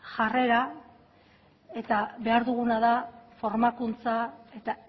jarrera eta behar duguna da formakuntza eta